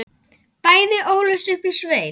Bæði ólust upp í sveit.